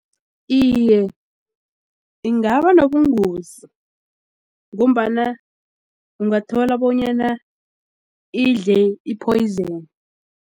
Iye, ingaba nobungozi ngombana ungathola bonyana idle i-poison.